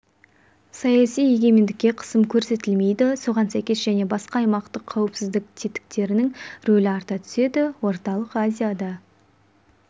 саяси егемендікке қысым көрсетілмейді соған сәйкес және басқа аймақтық қауіпсіздік тетіктерінің рөлі арта түседі орталық азияда